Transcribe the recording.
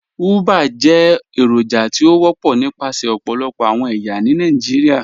Ugbá jẹ́ èròjà tí ó wọpọ̀ nípasẹ̀ ọ̀pọ̀lọpọ̀ awọn ẹyà ní Nàìjíríà.